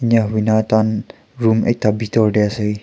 eniahuina tahan room ekta bitor tae ase.